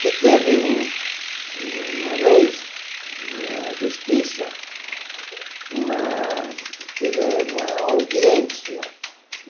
que teve um uma vez, na justiça, uma, teve uma audiência.